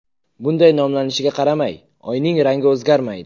Bunday nomlanishiga qaramay, Oyning rangi o‘zgarmaydi.